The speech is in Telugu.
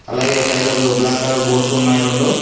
అలాగే సైడ్లకు బ్లాక్ కలర్ బోర్డ్స్ ఉన్నాయి రెండు.